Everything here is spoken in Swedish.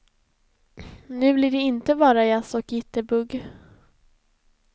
Nu blir det inte bara jazz och jitterbugg.